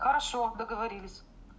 хорошо договорились